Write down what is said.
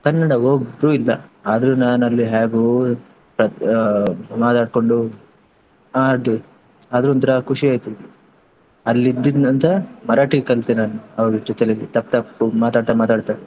ಕನ್ನಡ ಒಬ್ರು ಇಲ್ಲ ಆದ್ರೂ ನಾನ್ ಅಲ್ಲಿ ಹ್ಯಾಗೋ ಮಾತಾಡ್ಕೊಂಡು, ಅದೇ ಆದ್ರೂ ಒಂತರ ಖುಷಿ ಆಯ್ತು. ಅಲ್ಲಿ ಇದ್ದಿದ್ ನಂತ್ರ ಮರಾಠಿ ಕಲ್ತೆ ನಾನು ಅವಾಗ teacher ಜೊತೆ ತಪ್ಪು ತಪ್ಪು ಮಾತಾಡ್ತಾ ಮಾತಾಡ್ತಾ.